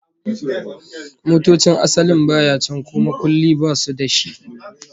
Motocin asalin baya can ko makulli basu da shi